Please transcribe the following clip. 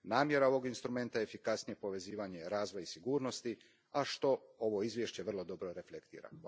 Namjera je ovog instrumenta efikasnije povezivanje razvoja i sigurnosti, a što ovo izvješće vrlo dobro reflektira.